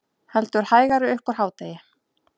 Heldur hægari upp úr hádegi